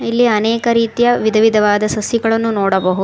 ಇಲ್ಲಿ ಅನೇಕ ರೀತಿಯ ವಿಧ ವಿಧವಾದ ಸಸಿಗಳನ್ನು ನೋಡಬಹುದು.